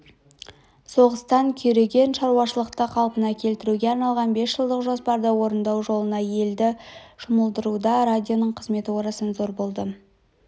соғыстан күйреген шаруашылықты қалпына келтіруге арналған бесжылдық жоспарды орындау жолына елді жұмылдыруда радионың қызметі орасан зор болды